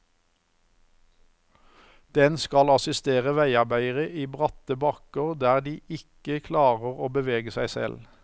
Den skal assistere veiarbeidere i bratte bakker der de ikke klarer å bevege seg selv.